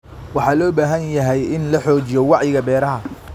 Waxa loo baahan yahay in la xoojiyo wacyiga beeraha.